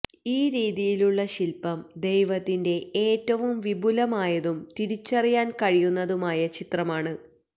ഈ രീതിയിലുള്ള ശില്പം ദൈവത്തിന്റെ ഏറ്റവും വിപുലമായതും തിരിച്ചറിയാൻ കഴിയുന്നതുമായ ചിത്രമാണ്